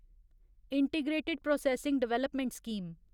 integrated processing development scheme